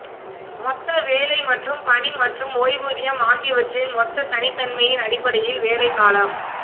மொத்த வேலை மற்றும் பணி மற்றும் ஓய்வூதியம் ஆகியவற்றின் மொத்த தனித்தன்மையின் அடிப்படையில் வேலை காலம்